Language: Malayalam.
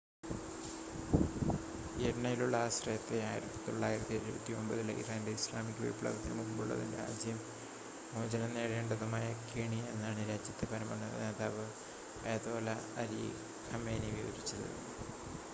"എണ്ണയിലുള്ള ആശ്രയത്തെ 1979-ലെ ഇറാന്റെ ഇസ്ലാമിക വിപ്ലവത്തിന് മുമ്പുള്ളതും രാജ്യം മോചനം നേടേണ്ടതുമായ "കെണി" എന്നാണ് രാജ്യത്തെ പരമോന്നത നേതാവ് അയതോല്ല അലി ഖമേനി വിവരിച്ചത്.